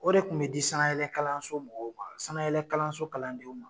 O de kun be di sanayɛlɛ kalanso mɔgɔw ma ,sanayɛlɛ kalanso kalandenw ma.